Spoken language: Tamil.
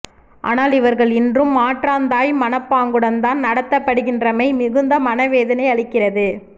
ஆனால் இவா்கள் இன்றும் மாற்றான் தாய் மனப்பாங்குடன்தான் நடத்தப்படுகின்றமை மிகுந்த மனவேதனையளிக்கிறது